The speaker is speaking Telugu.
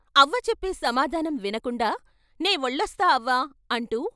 అవ్వ చెప్పే సమాధానం వినకుండా "నే వెళ్ళొస్తా అవ్వా" అంటూ...